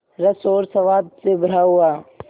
रस और स्वाद से भरा हुआ